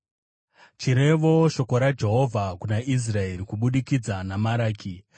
Chirevo: Shoko raJehovha kuna Israeri kubudikidza naMaraki.